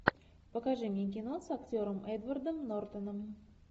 покажи мне кино с актером эдвардом нортоном